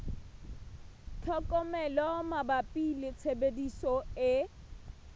tlhokomelo mabapi le tshebediso e